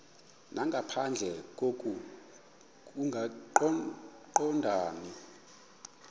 nangaphandle koko kungaqondani